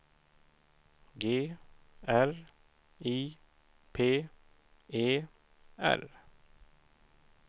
G R I P E R